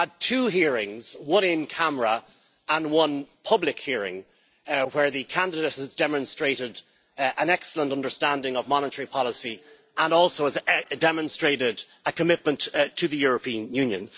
We have had two hearings, one in camera and one public hearing, where the candidate has demonstrated an excellent understanding of monetary policy and also demonstrated a commitment to the European Union.